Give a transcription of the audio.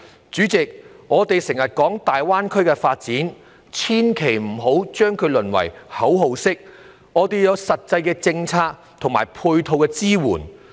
主席，我們經常提及大灣區發展，但千萬不要讓它淪為一句口號，要有實際的政策和配套支援。